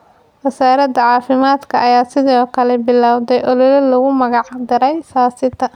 Wasaaradda caafimaadka ayaa sidoo kale bilowday olole loogu magac daray ‘Saa sita’.